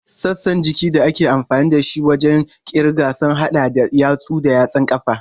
Sassan jikin da ake amfani da su wajen kirga sun hada da yatsu da yatsun ƙafa.